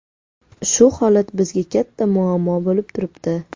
Shu holat bizga katta muammo bo‘lib turibdi.